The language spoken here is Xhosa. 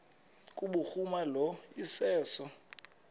kubhuruma lo iseso